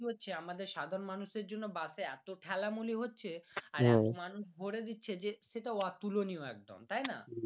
হচ্ছে আমাদের সাধারণ মানুষের জন্যে বাস এ এতো ঠেলা মুলি হচ্ছে আর এতো মানুষ ভোরে দিচ্ছে যে সেইটা অতুলনীয় একদম তাইনা